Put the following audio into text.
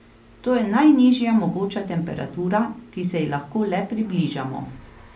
To je najnižja mogoča temperatura, ki se ji lahko le približamo.